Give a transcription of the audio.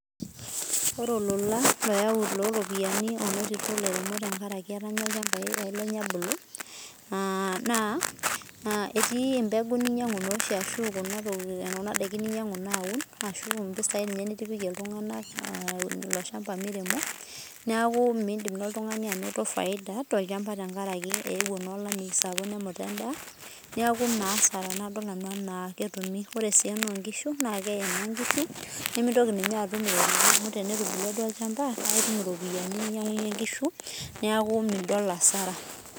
Ore olola oyau eropiani menoto elairemok tenkaraki etanya ilchambai lenye ebulu naa etii mbeguu ninyiangu ashu Kuna daikin ninyiangu aun ashu mpisai ninye nitipikie iltung'ana elo shamba miremi neeku midim naa oltung'ani anoto faida too lchamba tenkaraki ewuo naa olamei sapuk nemut endaa neeku ena asara tenadol nanu ena ketumi ore naa enoo nkishu naa keye nkishu nimitoki naa atum amu tenetubukua duo olchamba naa etum mpisai nainyiangunye nkishu neeku midol asara